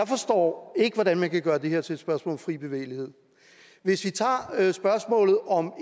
forstår jeg ikke hvordan man kan gøre det her til et spørgsmål om fri bevægelighed hvis vi tager spørgsmålet om